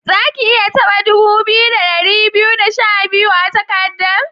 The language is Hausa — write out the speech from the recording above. Zaki iya taba dubu biyu, da dari biyu da sha biyar a'takadan?